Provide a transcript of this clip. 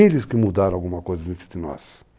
Eles que mudaram alguma coisa no nós